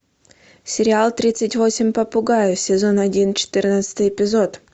сериал тридцать восемь попугаев сезон один четырнадцатый эпизод